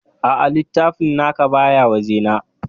Aa, littafin naka baya waje na